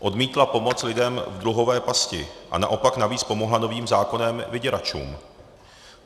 Odmítla pomoc lidem v dluhové pasti a naopak navíc pomohla novým zákonem vyděračům.